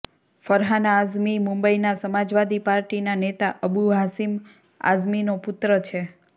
ફરહાન આઝમી મુંબઈના સમાજવાદી પાર્ટીના નેતા અબુ હાશીમ આઝમીનો પુત્ર છે